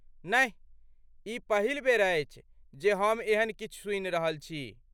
नहि, ई पहिल बेर अछि जे हम एहन किछु सुनि रहल छी!